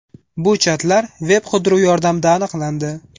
Bu chatlar veb-qidiruv yordamida aniqlandi.